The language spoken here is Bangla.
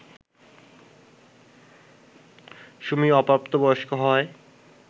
সুমি অপ্রাপ্ত বয়স্ক হওয়ায়